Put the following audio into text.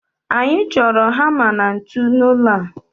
Anyị chọrọ hama na ntu n'ụlọ a